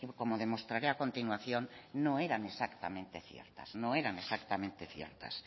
como demostraré a continuación no eran exactamente ciertas